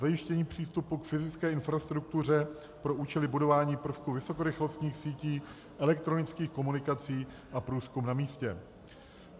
Zajištění přístupu k fyzické infrastruktuře pro účely budování prvků vysokorychlostních sítí elektronických komunikací a průzkum na místě.